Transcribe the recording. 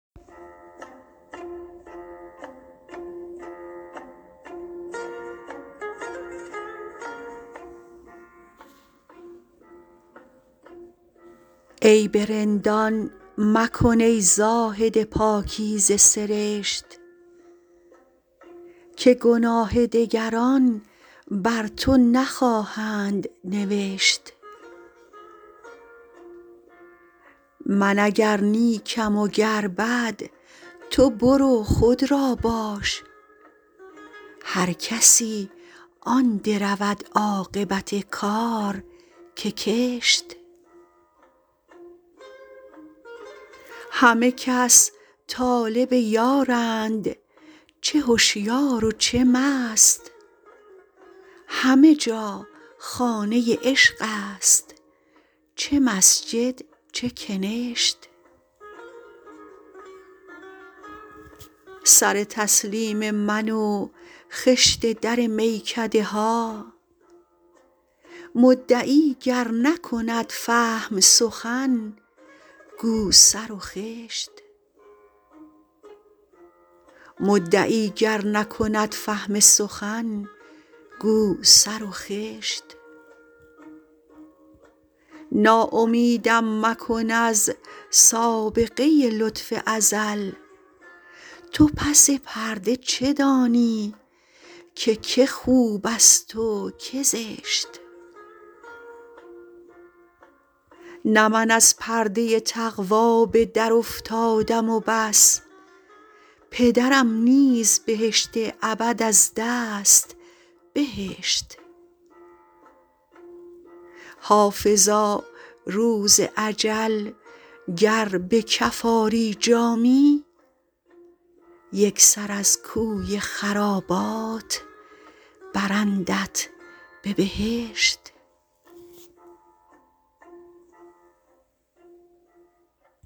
عیب رندان مکن ای زاهد پاکیزه سرشت که گناه دگران بر تو نخواهند نوشت من اگر نیکم و گر بد تو برو خود را باش هر کسی آن درود عاقبت کار که کشت همه کس طالب یارند چه هشیار و چه مست همه جا خانه عشق است چه مسجد چه کنشت سر تسلیم من و خشت در میکده ها مدعی گر نکند فهم سخن گو سر و خشت ناامیدم مکن از سابقه لطف ازل تو پس پرده چه دانی که که خوب است و که زشت نه من از پرده تقوا به درافتادم و بس پدرم نیز بهشت ابد از دست بهشت حافظا روز اجل گر به کف آری جامی یک سر از کوی خرابات برندت به بهشت